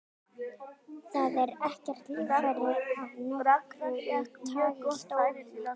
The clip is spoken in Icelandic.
Það er ekkert litarefni af nokkru tagi í sólinni.